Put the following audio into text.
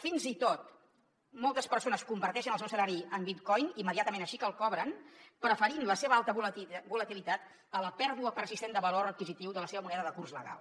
fins i tot moltes persones converteixen el seu salari en bitcoin immediatament així que el cobren preferint la seva alta volatilitat a la pèrdua persistent de valor adquisitiu de la seva moneda de curs legal